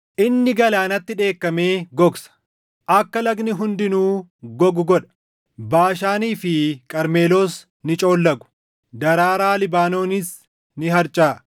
Inni galaanatti dheekkamee gogsa; akka lagni hundinuu gogu godha. Baashaanii fi Qarmeloos ni coollagu; daraaraa Libaanoonis ni harcaʼa.